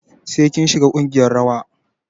Sai kin shiga ƙungiyar rawa.